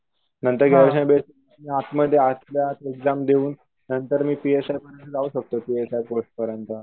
आतमध्ये आतल्या आत एक्जाम देऊन नंतर मी पी एस आय म्हणून जाऊ शकतो पी एस आय च्या पोस्ट पर्यंत.